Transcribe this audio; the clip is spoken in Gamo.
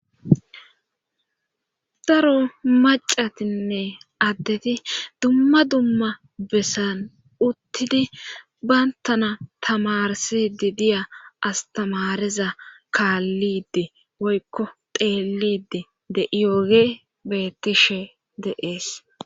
daro macatinne addeti dumma dumma bessan uttidi bayntana tamarsidi diya astamariza kaallide woykko teelide de'iyooge bettishe de'ees